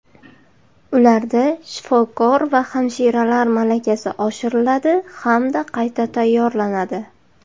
ularda shifokor va hamshiralar malakasi oshiriladi hamda qayta tayyorlanadi;.